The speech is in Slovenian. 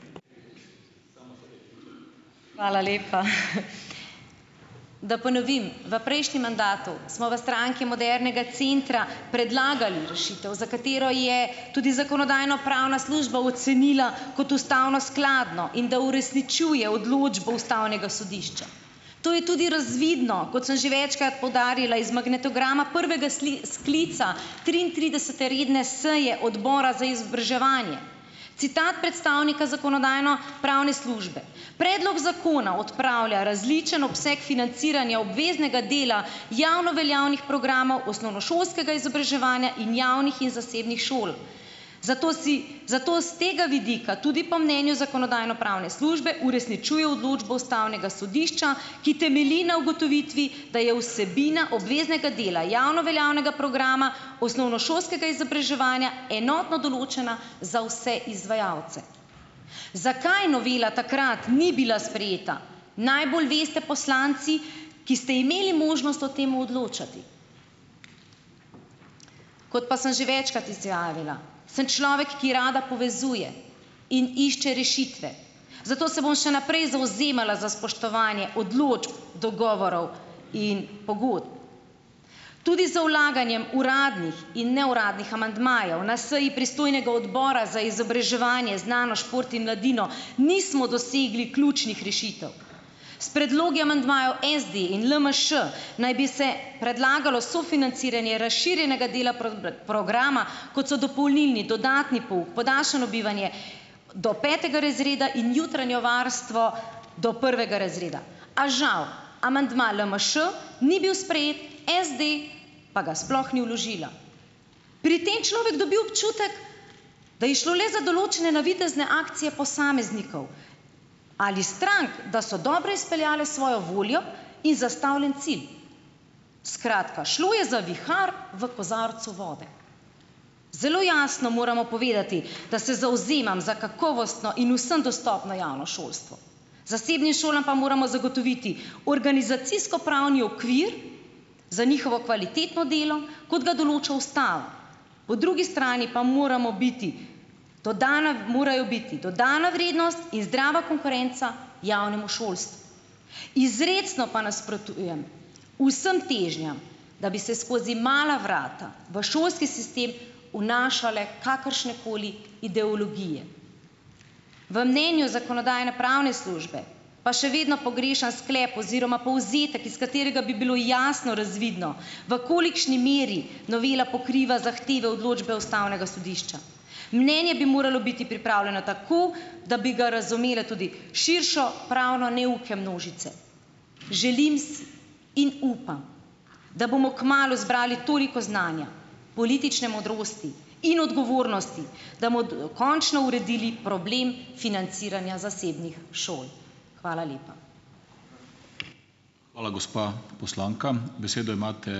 Hvala lepa. Da ponovim, v prejšnjem mandatu smo v Stranki modernega centra predlagali rešitev, za katero je tudi zakonodajno-pravna služba ocenila kot ustavno skladno in da uresničuje odločbo ustavnega sodišča, to je tudi razvidno, kot sem že večkrat poudarila iz magnetograma prvega sklica triintridesete redne seje odbora za izobraževanje. Citat predstavnika zakonodajno-pravne službe: "Predlog zakona odpravlja različen obseg financiranja obveznega dela javno veljavnih programov osnovnošolskega izobraževanja in javnih in zasebnih šol, zato si zato s tega vidika tudi po mnenju zakonodajno-pravne službe uresničuje odločbo ustavnega sodišča, ki temelji na ugotovitvi, da je vsebina obveznega dela javno veljavnega programa osnovnošolskega izobraževanja enotno določena za vse izvajalce." Zakaj novela takrat ni bila sprejeta, najbolj veste poslanci, ki ste imeli možnost o tem odločati, kot pa sem že večkrat izjavila, sem človek ki rada povezuje in išče rešitve, zato se bom še naprej zavzemala za spoštovanje odločb, dogovorov in pogodb, tudi z vlaganjem uradnih in neuradnih amandmajev. Na seji pristojnega odbora za izobraževanje, znanost, šport in mladino nismo dosegli ključnih rešitev. S predlogi amandmajev SD in LMŠ naj bi se predlagalo sofinanciranje razširjenega dela programa, kot so dopolnilni, dodatni pouk, podaljšano bivanje do petega razreda in jutranje varstvo do prvega razreda, a žal amandma LMŠ ni bil sprejet, SD pa ga sploh ni vložila, pri tem človek dobi občutek, da je šlo le za določene navidezne akcije posameznikov ali strank da so dobro izpeljale svojo voljo in zastavljeni cilj. Skratka, šlo je za vihar v kozarcu vode, zelo jasno moramo povedati, da se zavzemam za kakovostno in vsem dostopno javno šolstvo, zasebnim šolam pa moramo zagotoviti organizacijsko pravni okvir za njihovo kvalitetno delo, kot ga določa ustava po drugi strani pa moramo biti dodana morajo biti dodana vrednost in zdrava konkurenca javnemu šolstvu, izrecno pa nasprotujem vsem težnjam, da bi se skozi mala vrata v šolski sistem vnašale kakršnekoli ideologije. V mnenju zakonodajno-pravne službe pa še vedno pogrešam sklep oziroma povzetek, iz katerega bi bilo jasno razvidno, v kolikšni meri novela pokriva zahteve odločbe ustavnega sodišča, mnenje bi moralo biti pripravljeno tako, da bi ga razumele tudi širše pravno neuke množice, želim si in upam, da bomo kmalu zbrali toliko znanja politične modrosti in odgovornosti da končno uredili problem financiranja zasebnih šol. Hvala lepa. Hvala gospa, poslanka, besedo imate ...